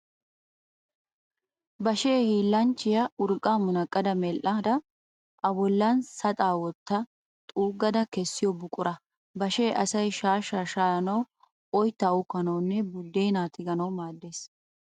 Bashee hiillanchchiya urqqaa munaqqada medhdhada a bollan saxaa wotta xuuggada kessiyo buqura. Bashee asay shaashshaa shaayanawu, oyittaa uukkanawunne buddeenaa tiganawu maaddes.